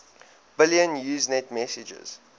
billion usenet messages